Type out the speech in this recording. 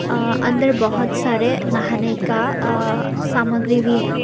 अह अंदर बहुत सारे नहाने का अह सामग्री भी है।